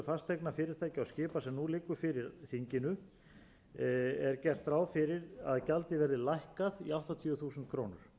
fasteigna fyrirtækja og skipa sem nú liggur fyrir þinginu er gert ráð fyrir því að gjaldið verði lækkað í áttatíu þúsund krónur